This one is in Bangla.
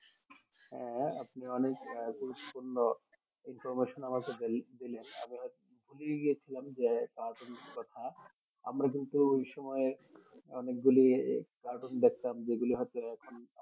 হ্যাঁ আপনি অনেক গুরুত্ব পূর্ণ information আমাকে দিলেন আমি হয়তো ভুলেই গিয়েছিলাম যে পুরাতন কথা আমরা কিন্তু ওই সময় অনেক গুলি কাটুন দেখতাম যেগুলি হচ্ছে এখন